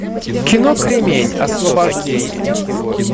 кино кремень освобождение